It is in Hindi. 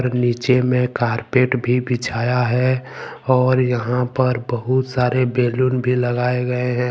नीचे में कारपेट भी बिछाया है और यहां पर बहुत सारे बैलून भी लगाए गए हैं।